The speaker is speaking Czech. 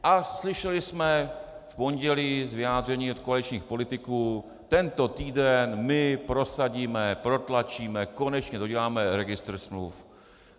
A slyšeli jsem v pondělí vyjádření od koaličních politiků: tento týden my prosadíme, protlačíme, konečně doděláme registr smluv.